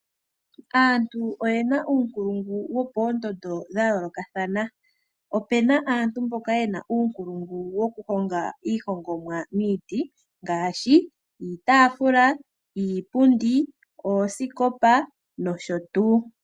Aantu oyena uunkulungu wopoondondo dha yoolokathana, opuna aantu mboka yena uunkulungu woku honga iihongomwa miiti, ngaashi iitaafula, iipundi, oosikopa nosho tuu.